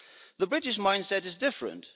The British mindset is different.